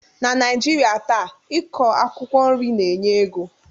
Na Naijirịa taa,i kọ akwụkwọ nri na-enye ego